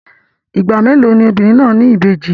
Ìgbà mélòó ni obìnrin náà ní ìbejì?